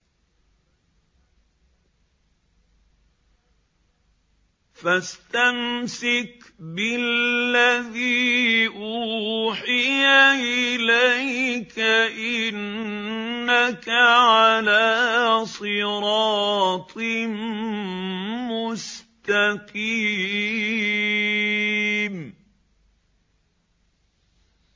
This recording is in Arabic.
فَاسْتَمْسِكْ بِالَّذِي أُوحِيَ إِلَيْكَ ۖ إِنَّكَ عَلَىٰ صِرَاطٍ مُّسْتَقِيمٍ